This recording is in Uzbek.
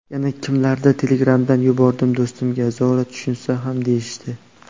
Yana kimlardir telegramdan yubordim do‘stimga, zora tushunsa ham deyishdi.